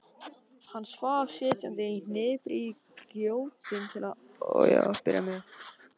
Hann svaf sitjandi í hnipri í gjótum til að byrja með.